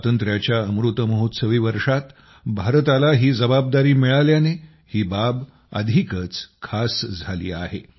स्वातंत्र्याच्या अमृतमहोत्सवी वर्षात भारताला ही जबाबदारी मिळाल्याने ही बाब अधिकच खास झाली आहे